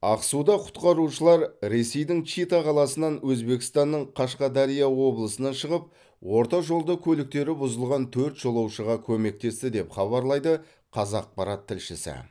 ақсуда құтқарушылар ресейдің чита қаласынан өзбекстанның қашқадария облысынан шығып орта жолда көліктері бұзылған төрт жолаушыға көмектесті деп хабарлайды қазақпарат тілшісі